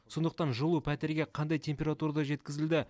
сондықтан жылу пәтерге қандай температурада жеткізілді